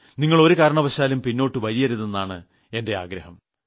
നിങ്ങൾ ഒരു കാരണവശാലും പിന്നോട്ടു വലിയരുതെന്നാണ് എന്റെ ആഗ്രഹം